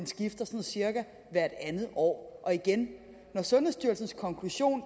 skifter sådan cirka hvert andet år og igen når sundhedsstyrelsens konklusion